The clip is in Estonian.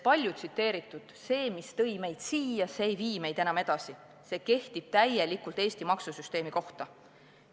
Palju tsiteeritud lause "Mis tõi meid siia, ei vii meid enam edasi." kehtib täielikult ka Eesti maksusüsteemi kohta.